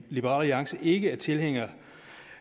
liberal alliance ikke er tilhænger